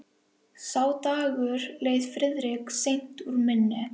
Sá dagur leið Friðriki seint úr minni.